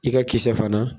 I ka kisɛ fana